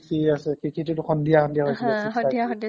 কৃষি আছে, কৃষিটোতো সন্ধিয়া সন্ধিয়া হৈছিলে হা সন্ধিয়া সন্ধিয়া six thirty